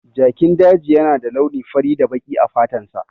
Jakin daji yana da launi fari da baki a fatansa.